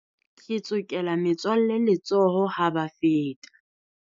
Ke tsokela metswalle letsoho ha ba feta.